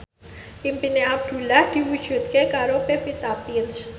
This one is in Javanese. impine Abdul diwujudke karo Pevita Pearce